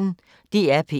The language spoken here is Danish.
DR P1